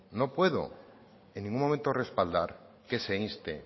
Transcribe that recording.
no puedo en ningún momento respaldar que se inste